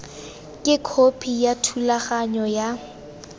ke khopi ya thulaganyo ya